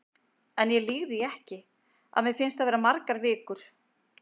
En ég lýg því ekki, að mér fannst það vera margar vikur.